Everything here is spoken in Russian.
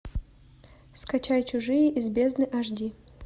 скачай чужие из бездны аш ди